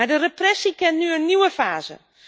Maar de repressie kent nu een nieuwe fase.